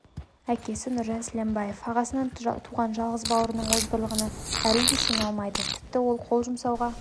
әкесі нұржан сіләмбаев ағасынан туған жалғыз бауырының озбырлығына әлі де сене алмайды тіпті ол қол жұмсауға